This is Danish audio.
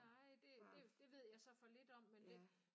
Nej det det det ved jeg så for lidt om men det